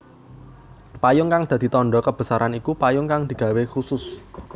Payung kang dadi tandha kebesaran iku payung kang digawé khusus